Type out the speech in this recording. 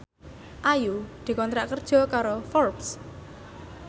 Ayu dikontrak kerja karo Forbes